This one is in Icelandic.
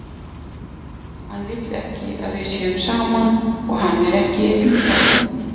Hann vill ekki að við séum saman, og hann er ekki einn um það.